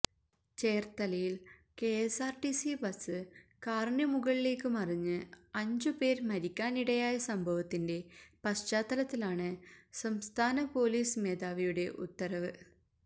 ചേര്ത്തലയില് KSRTC bus കാറിനു മുകളിലേക്ക് മറിഞ്ഞ് അഞ്ചു പേര് മരിക്കാനിടയായ സംഭവത്തിന്റെ പശ്ചാത്തലത്തിലാണ് സംസ്ഥാന പോലീസ് മേധാവിയുടെ ഉത്തരവ്